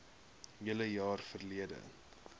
hele jaar verlede